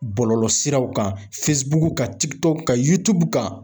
Bɔlɔlɔsiraw kan kan kan, kan.